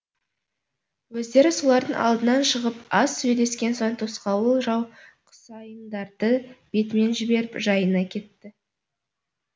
өздері солардың алдынан шығып аз сөйлескен соң тосқауыл жау құсайындарды бетімен жіберіп жайына кетті